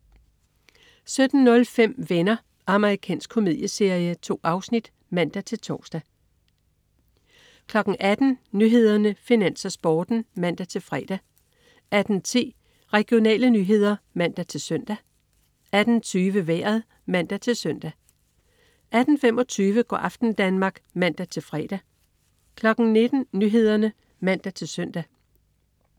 17.05 Venner. Amerikansk komedieserie. 2 afsnit (man-tors) 18.00 Nyhederne, Finans, Sporten (man-fre) 18.10 Regionale nyheder (man-søn) 18.20 Vejret (man-søn) 18.25 Go' aften Danmark (man-fre) 19.00 Nyhederne (man-søn)